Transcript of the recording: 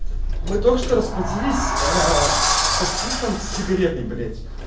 мы только что расплатились с таксистом с сигаретой блять